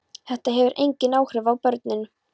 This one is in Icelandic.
Þetta hefur engin áhrif á börnin.